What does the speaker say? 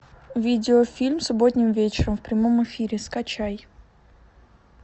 видеофильм субботним вечером в прямом эфире скачай